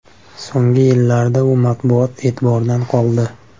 So‘nggi yillarda u matbuot e’tiboridan qoldi.